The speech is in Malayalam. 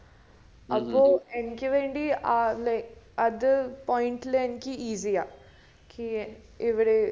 അപ്പോ എനിക്ക് വേണ്ടി ഏർ അത് point ല് എനിക്ക് easy യാ നിക്ക് ഇവിടെ